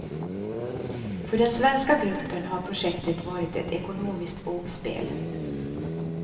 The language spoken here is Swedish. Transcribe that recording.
För den svenska gruppen har projektet varit ett ekonomiskt vågspel.